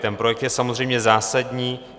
Ten projekt je samozřejmě zásadní.